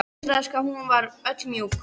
Undraðist hvað hún var öll mjúk.